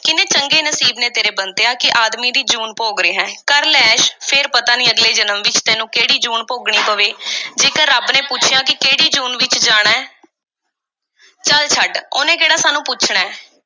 ਕਿੰਨੇ ਚੰਗੇ ਨਸੀਬ ਨੇ ਤੇਰੇ, ਬੰਤਿਆ, ਕਿ ਆਦਮੀ ਦੀ ਜੂਨ ਭੋਗ ਰਿਹੈਂ। ਕਰ ਲੈ ਐਸ਼, ਫੇਰ ਪਤਾ ਨਹੀਂ ਅਗਲੇ ਜਨਮ ਵਿੱਚ ਤੈਨੂੰ ਕਿਹੜੀ ਜੂਨ ਭੋਗਣੀ ਪਵੇ। ਜੇਕਰ ਰੱਬ ਨੇ ਪੁੱਛਿਆ ਕਿ ਕਿਹੜੀ ਜੂਨ ਵਿੱਚ ਜਾਣਾ ਐ? ਚੱਲ ਛੱਡ, ਉਹਨੇ ਕਿਹੜਾ ਸਾਨੂੰ ਪੁੱਛਣੈ।